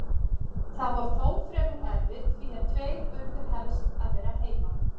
Það var þó fremur erfitt því að tveir urðu helst að vera heima.